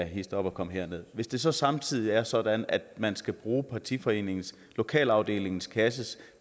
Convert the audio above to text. hist op og kom herned hvis det så samtidig er sådan at man skal bruge partiforeningens lokalafdelingens kasses